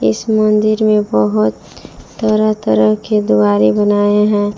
इस मंदिर में बहोत तरह तरह के द्वारे बनाए हैं।